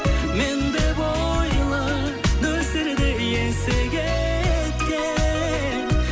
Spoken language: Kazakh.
мен деп ойла нөсерді есі кеткен